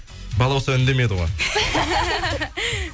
балауса үндемеді ғой